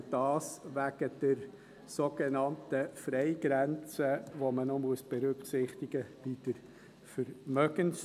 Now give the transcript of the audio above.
dies wegen der sogenannten Freigrenze, die man bei der Vermögenssteuer noch berücksichtigen muss.